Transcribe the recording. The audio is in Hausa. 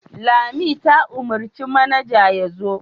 Lami ta umarci manaja ya zo.